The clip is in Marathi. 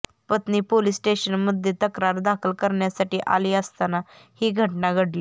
पत्नी पोलीस स्टेशनमध्ये तक्रार दाखल करण्यासाठी आली असताना ही घटना घडली